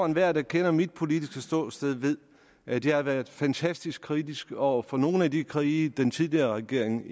enhver der kender mit politiske ståsted ved at jeg har været fantastisk kritisk over for nogle af de krige den tidligere regering